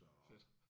Fedt